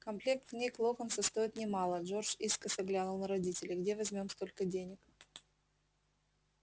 комплект книг локонса стоит немало джордж искоса глянул на родителей где возьмём столько денег